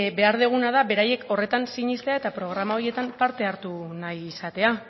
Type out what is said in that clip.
behar duguna da beraiek horretan sinestea eta programa horietan parte hartu nahi izatea